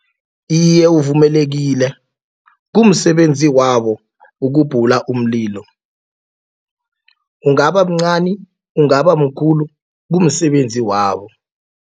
Iye, uvumelekile kumsebenzi wabo ukubhula umlilo. Ungaba mncani ungaba mkhulu kumsebenzi wabo.